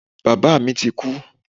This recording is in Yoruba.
Bàbá mi ti kú.